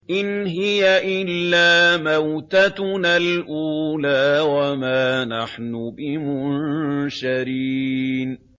إِنْ هِيَ إِلَّا مَوْتَتُنَا الْأُولَىٰ وَمَا نَحْنُ بِمُنشَرِينَ